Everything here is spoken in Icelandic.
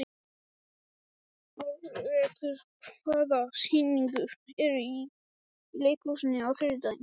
Alrekur, hvaða sýningar eru í leikhúsinu á þriðjudaginn?